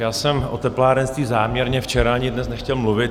Já jsem o teplárenství záměrně včera ani dnes nechtěl mluvit.